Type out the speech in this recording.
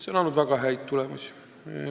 " See on andnud väga häid tulemusi.